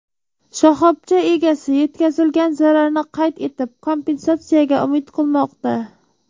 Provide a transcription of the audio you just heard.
Shoxobcha egasi yetkazilgan zararni qayd etib, kompensatsiyaga umid qilmoqda.